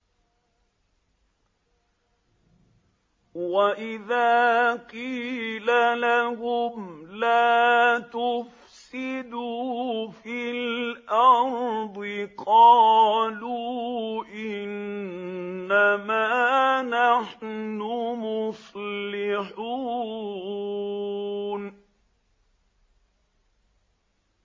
وَإِذَا قِيلَ لَهُمْ لَا تُفْسِدُوا فِي الْأَرْضِ قَالُوا إِنَّمَا نَحْنُ مُصْلِحُونَ